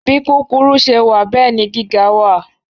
Bí kúkúrú ṣe wà bẹ́ẹ̀ ni gíga wà